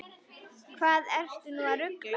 Hvað ertu nú að rugla!